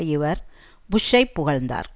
இவர் புஷ்ஷை புகழ்ந்தார்